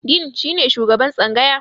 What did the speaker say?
"Dean" shi ne shugaban tsangaya.